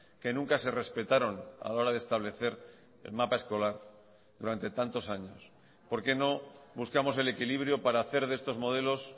que nunca se respetaron a la hora de establecer el mapa escolar durante tantos años por qué no buscamos el equilibrio para hacer de estos modelos